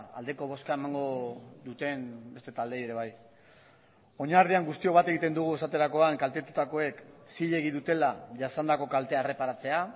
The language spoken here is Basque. aldeko bozka emango duten beste taldeei ere bai oinarrian guztiok bat egiten dugu esaterakoan kaltetutakoek zilegi dutela jasandako kaltea erreparatzea